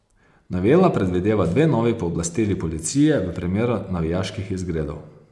Novela predvideva dve novi pooblastili policije v primeru navijaških izgredov.